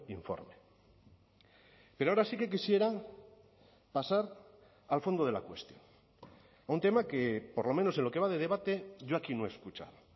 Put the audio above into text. informe pero ahora sí que quisiera pasar al fondo de la cuestión un tema que por lo menos en lo que va de debate yo aquí no he escuchado